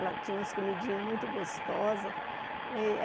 Ela tinha umas comidinhas muito gostosas.